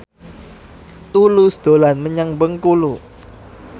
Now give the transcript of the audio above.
Tulus dolan menyang Bengkulu